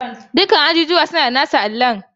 Dukkan ajujuwa suna da nasu allon.